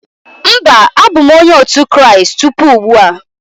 Mba, abụ m Onye otu Kraịst tupu ugbu a.